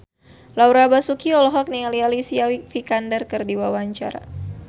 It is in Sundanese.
Laura Basuki olohok ningali Alicia Vikander keur diwawancara